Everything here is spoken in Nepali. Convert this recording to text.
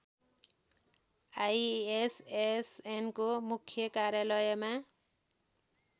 आईएसएसएनको मुख्य कार्यालयमा